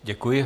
Děkuji.